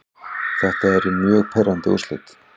Þetta eru mjög pirrandi úrslit.